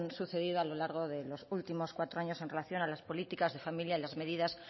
sucedido a lo largo de los últimos cuatro años en relación a las políticas de familia y las medidas